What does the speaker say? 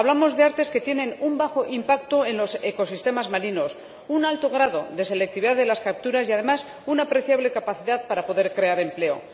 Hablamos de artes que tienen un bajo impacto en los ecosistemas marinos, un alto grado de selectividad de las capturas y, además, una apreciable capacidad para poder crear empleo.